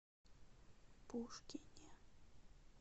пушкине